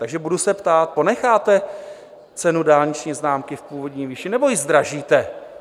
Takže budu se ptát: Ponecháte cenu dálniční známky v původní výši, nebo ji zdražíte?